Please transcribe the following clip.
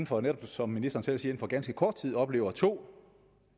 for netop som ministeren selv siger ganske kort tid oplever to